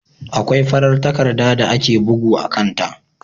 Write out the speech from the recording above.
Akwai farar takarda da ake bugu a kan ta.